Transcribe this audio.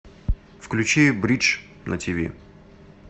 включи бридж на тиви